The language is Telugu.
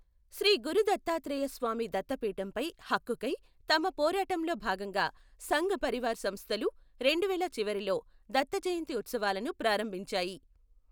శ్రీ గురు దత్తాత్రేయ స్వామి దత్తపీఠంపై హక్కుకై తమ పోరాటంలో భాగంగా సంఘ్ పరివార్ సంస్థలు రెండువేల చివరలో దత్త జయంతి ఉత్సవాలను ప్రారంభించాయి.